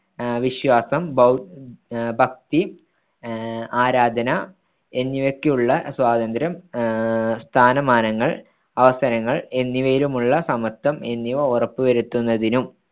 വിശ്വാസം ഭൗ ഭക്തി അഹ് ആരാധന എന്നിവയ്ക്കുള്ള സ്വാതന്ത്ര്യം ആഹ് സ്ഥാനമാനങ്ങൾ അവസരങ്ങൾ എന്നിവയിലുമുള്ള സമത്വം, എന്നിവ ഉറപ്പുവരുത്തുന്നതിനും